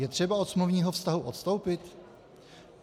Je třeba od smluvního vztahu odstoupit?